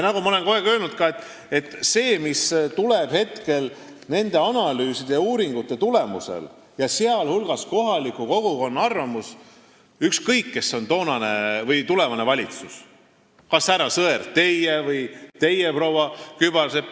Nagu ma olen kogu aeg öelnud, lähtutakse sellest, mis tuleb välja nende analüüside ja uuringute tulemusel, sh kohaliku kogukonna arvamusest, ükskõik, kes on tulevases valitsuses, kas teie, härra Sõerd, või teie, proua Kübarsepp.